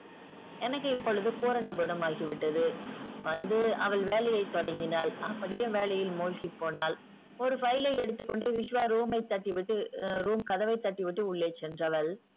எனக்கு இப்பொழுது பூரண குணமாகிவிட்டது வந்து அவள் வேலையை தொடங்கினால் அப்படியே வேலையில் மூழ்கிப்போனாள். ஒரு file ஐ எடுத்துக்கொண்டு விஷ்வா room ஐ தட்டிவிட்டு ஆ room கதவை தட்டிவிட்டு உள்ளே சென்றால்